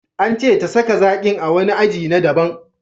An ce ta saka zakin a wani keji na daban.